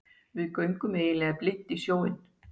Við göngum eiginlega blint í sjóinn